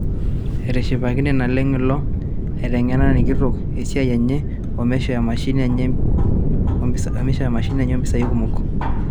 Etishipakine naleng' ilo aiteng'enani kitok esiia enye omeishoo emashini enye ompisai kumok.